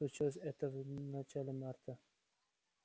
случилось это в начале марта